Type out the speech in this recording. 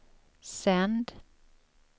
sänd